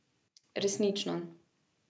Resnično.